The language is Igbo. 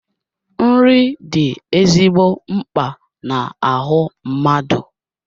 Nri dị ezigbo mkpa na-ahu mmadụ